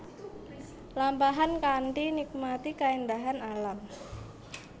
Lampahan kanthi nikmati kaéndahan alam